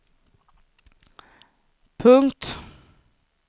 punkt